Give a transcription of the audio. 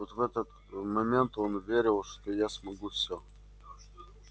вот в этот момент он верил что я могу всё